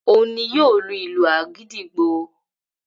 Ohun ni yóò lu ìlù àgídìgbo